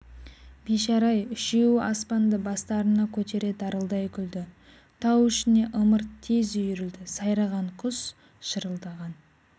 бейшара-ай үшеуі аспанды бастарына көтере дарылдай күлді тау ішіне ымырт тез үйірілді сайраған құс шырылдаған